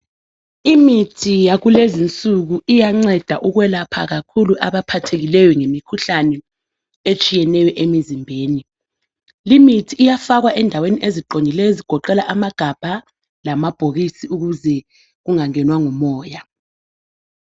Imithi yakulezinsuku iyanceda kakhulu ukwelapha abaphathekileyo ngemikhuhlane etshiyeneyo emizimbeni. Limithi iyafakwa endaweni eziqondileyo ezigoqela amagabha lamabhokisi ukuze kungangenwa ngumoya.